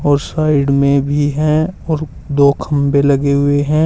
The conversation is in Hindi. और साइड में भी हैं और दो खंबे लगे हुए हैं।